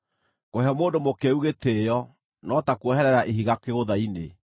Kũhe mũndũ mũkĩĩgu gĩtĩĩo no ta kuoherera ihiga kĩgũtha-inĩ.